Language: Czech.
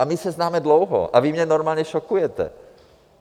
A my se známe dlouho a vy mě normálně šokujete!